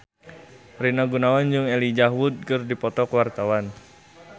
Rina Gunawan jeung Elijah Wood keur dipoto ku wartawan